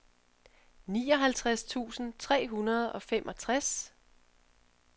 nioghalvtreds tusind tre hundrede og femogtres